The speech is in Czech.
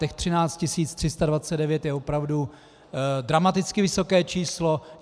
Těch 13 329 je opravdu dramaticky vysoké číslo.